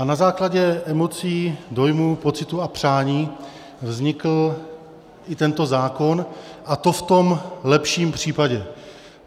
A na základě emocí, dojmů, pocitů a přání vznikl i tento zákon, a to v tom lepším případě.